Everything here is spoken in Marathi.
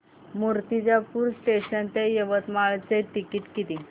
मूर्तिजापूर जंक्शन ते यवतमाळ चे तिकीट किती